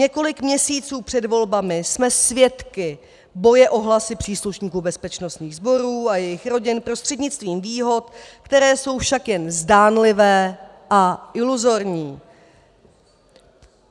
Několik měsíců před volbami jsme svědky boje o hlasy příslušníků bezpečnostních sborů a jejich rodin prostřednictvím výhod, které jsou však jen zdánlivé a iluzorní.